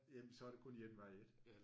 Jamen så er der kun én vej ik